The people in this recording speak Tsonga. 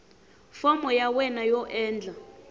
fomo ya wena yo endla